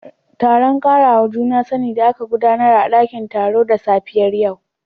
Taron karawa juna sani da aka gudanar a dakin taro da safiyar yau